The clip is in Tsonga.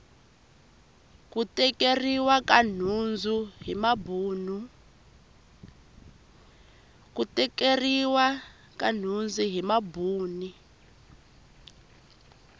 ku tekeriwa ka nhundzu hi mabuni